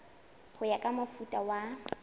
ho ya ka mofuta wa